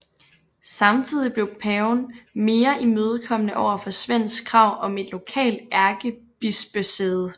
Samtidig blev paven mere imødekommende over for Svends krav om et lokalt ærkebispesæde